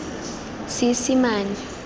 seesimane